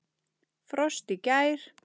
Frost í gær.